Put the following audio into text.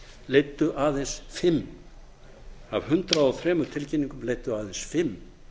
leiddu aðeins fimm af hundrað og þrjú tilkynningum leiddu aðeins fimm